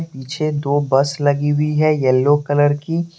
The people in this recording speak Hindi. पीछे दो बस लगी हुई है येलो कलर की।